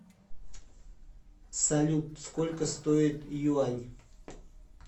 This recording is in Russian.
салют сколько стоит юань